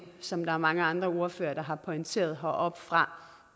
som der er mange andre ordførere der har pointeret heroppefra